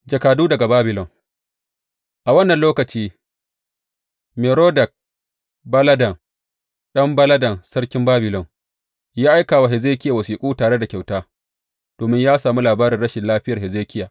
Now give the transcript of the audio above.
Jakadu daga Babilon A wannan lokaci, Merodak Baladan ɗan Baladan sarkin Babilon ya aika wa Hezekiya wasiƙu tare da kyauta, domin ya sami labarin rashin lafiyar Hezekiya.